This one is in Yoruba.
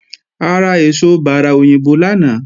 A ra èso bárà òyìnbó lánàá